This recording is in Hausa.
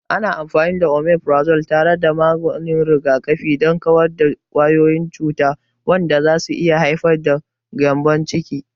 Ana amfani da Omifirazol tare da maganin rigakafi don kawar da kwayoyin cuta, wanda zai iya haifar da gyambon ciki.